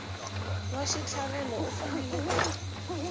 wa xitlhavelo u fanele ku